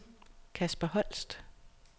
Kasper Holst